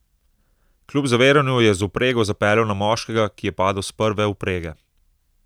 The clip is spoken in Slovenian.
Kljub zaviranju je z vprego zapeljal na moškega, ki je padel s prve vprege.